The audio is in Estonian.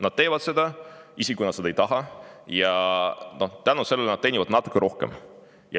Nad teevad seda, isegi kui nad seda ei taha, ja nad teenivad natuke rohkem.